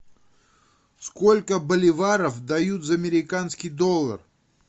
сколько боливаров дают за американский доллар